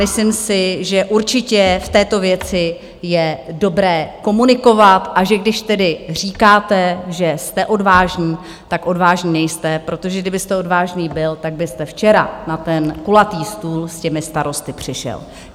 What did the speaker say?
Myslím si, že určitě v této věci je dobré komunikovat, a že když tedy říkáte, že jste odvážný, tak odvážný nejste, protože kdybyste odvážný byl, tak byste včera na ten kulatý stůl s těmi starosty přišel.